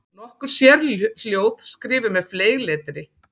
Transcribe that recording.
Nokkur sérhljóð skrifuð með fleygletri.